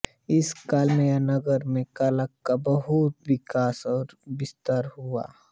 इस काल में यह नगर में कला का बहुत विकास और विस्तार हुआ